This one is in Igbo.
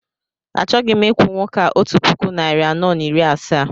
Achọghị m ikwu nwoke a otu puku, narị anọ na iri asaa